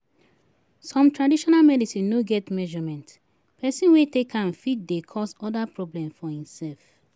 Some traditional medicine no get measurement, person wey take am fit dey cause oda problem for imself